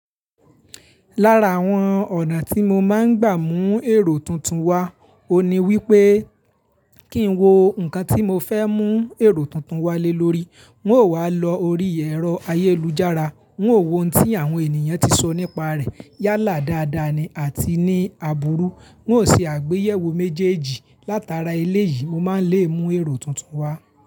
Lára àwọn ọ̀nà tí mo máa ń gbà mú èrò tuntun wá, òní wípé Kí n wo nǹkan tí mo fẹ́ mú èrò tuntun wá lé lórí, n ó wá lọ orí ẹ̀rọ ayélujára, n ó wo ohun tí àwọn ènìyàn tí sọ nípa rẹ̀ yálà dáadáa ni àti ní aburú. N ó ṣe àgbéyẹ̀wò méjèèjì látara eléyìí, mo máa ń lè mú èrò tuntun wá.